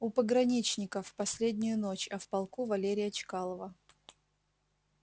у пограничников последнюю ночь а в полку валерия чкалова